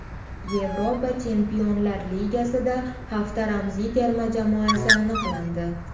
Yevropa Chempionlar Ligasida hafta ramziy terma jamoasi aniqlandi.